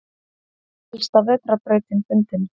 Elsta vetrarbrautin fundin